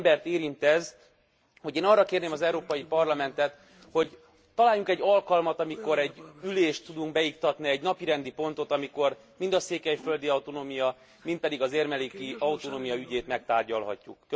Annyi embert érint ez, hogy én arra kérném az Európai Parlamentet, hogy találjunk egy alkalmat, amikor egy ülést tudunk beiktatni, egy napirendi pontot, amikor mind a székelyföldi autonómia, mind pedig az érmelléki autonómia ügyét megtárgyalhatjuk.